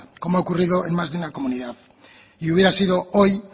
como ha ocurrido en más de una comunidad y hubiera sido hoy